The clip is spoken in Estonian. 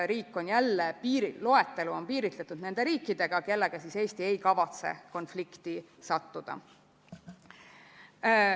Riik on loetelu piiritlenud nende riikidega, kellega Eesti ei kavatse konflikti sattuda.